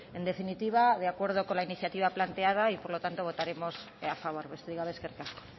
en definitiva de acuerdo con la iniciativa planteada y por lo tanto votaremos a favor besterik gabe eskerrik asko